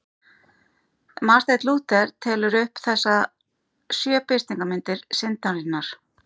Marteinn Lúther telur upp þessar sjö birtingarmyndir syndarinnar.